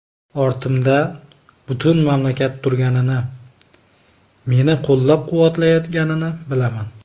Ortimda butun mamlakat turganini, meni qo‘llab-quvvatlayotganini bilaman.